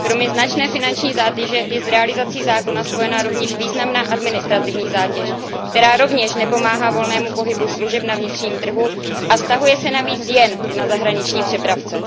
Kromě značné finanční zátěže je s realizací zákona spojena rovněž významná administrativí zátěž, která rovněž nepomáhá volnému pohybu služeb na vnitřním trhu a vztahuje se navíc jen na zahraniční přepravce.